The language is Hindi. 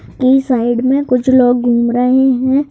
की साइड में कुछ लोग घूम रहे हैं।